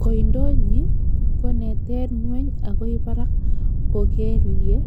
Koindo nyin kon'eten ng'weny agoi barak ko keleye